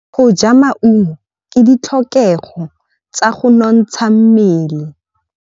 Go ja maungo ke ditlhokegô tsa go nontsha mmele.